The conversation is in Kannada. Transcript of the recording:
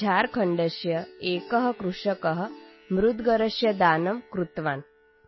ಜಾರ್ಖಂಡಸ್ಯ ಏಕಃ ಕೃಷಕಃ ಮುದ್ಗರಸ್ಯ ದಾನಂ ಕೃತವಾನ್